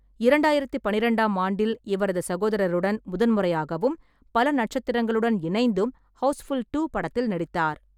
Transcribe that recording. இரண்டாயிரத்து பன்னிரண்டாம் ஆண்டில், இவரது சகோதரருடன் முதன் முறையாகவும் பல நட்சத்திரங்களுடன் இணைந்தும் ஹவுஸ்ஃபுல் டூ படத்தில் நடித்தார்.